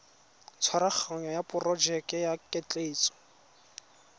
tshwaraganyo ya porojeke ya ketleetso